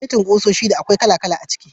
Setin kusoshi da akwai kala-kala a ciki.